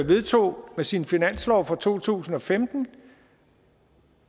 vedtog med sin finanslov fra to tusind og femten